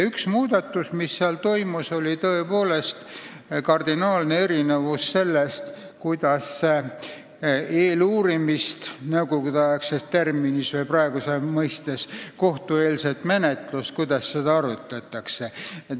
Üks muudatus, mis tehti, oli varasemast kardinaalselt erinev lähenemine sellele, kuidas nõukogudeaegse terminiga eeluurimist või praegusaja mõistes kohtueelset menetlust korraldama hakati.